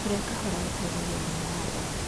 Kurĩa kahora gũteithagia ũgima wa ndaa